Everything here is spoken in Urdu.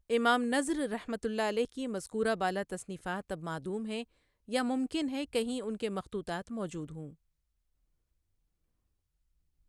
امام نضرؒ کی مذکورہ بالا تصنیفات اب معدوم ہیں، یا ممکن ہے کہیں ان کے مخطوطات موجود ہوں۔